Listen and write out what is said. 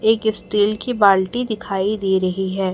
एक स्टील की बाल्टी दिखाई दे रही है।